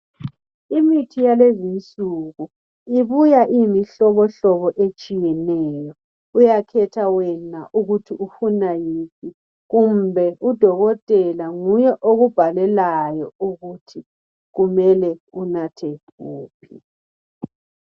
Imithi yalezi isuku ibuya ingimihlobo etshiyaneyo uyakhetha wena ukuthi ufuna yiphi kumbe udokontela nguye okubhalelayo ukuthi kumele unathe wuphi